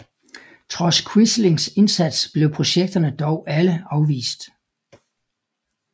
Trods Quislings indsats blev projekterne dog alle afvist